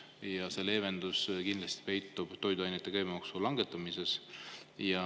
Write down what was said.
Ja see leevendus kindlasti peitub toiduainete käibemaksu langetamises.